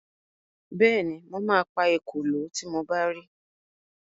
Bẹ́ẹ̀ni, mo ma pa ekòló tí mo bá ri